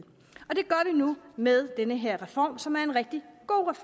nu med den her reform som er en rigtig god